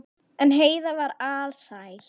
En Heiða var alsæl.